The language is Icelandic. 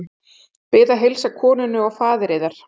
Bið að heilsa konunni og faðir yðar.